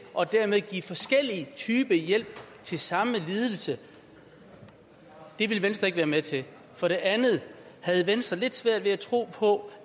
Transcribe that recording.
og dermed give forskellige typer hjælp til samme lidelse det vil venstre ikke være med til for det andet havde venstre lidt svært ved at tro på